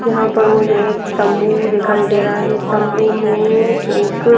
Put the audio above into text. यहां पर मुझे एक तंबू दिखाई दे रहा है तंबू में एक--